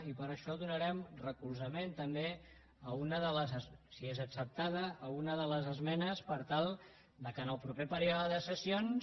i per això donarem recolzament també si és acceptada a una de les esmenes per tal que en el proper període de sessions